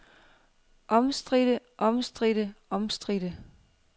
omstridte omstridte omstridte